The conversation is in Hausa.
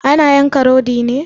Ana yanka rodi ne?